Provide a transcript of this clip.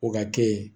O ka kɛ